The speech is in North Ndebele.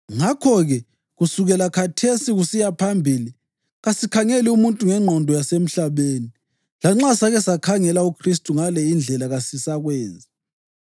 Ngakho-ke, kusukela khathesi kusiya phambili kasikhangeli muntu ngengqondo yasemhlabeni. Lanxa sake sakhangela uKhristu ngale indlela, kasisakwenzi.